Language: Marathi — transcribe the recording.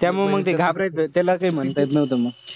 त्यामुळे मंग ते घाबरायचं. त्याला काई म्हणता येत नव्हतं मंग.